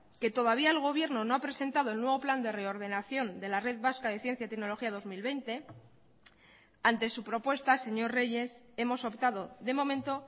que todavía el gobierno no ha presentado el nuevo plan de reordenación de la red vasca de ciencia tecnología dos mil veinte ante su propuesta señor reyes hemos optado de momento